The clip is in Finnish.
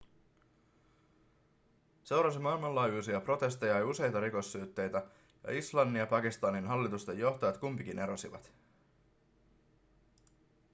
seurasi maailmanlaajuisia protesteja ja useita rikossyytteitä ja islannin ja pakistanin hallitusten johtajat kumpikin erosivat